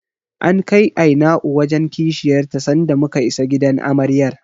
An kai Aina'u wajen Kishiyar ta sanda muka isa gidan Amaryar.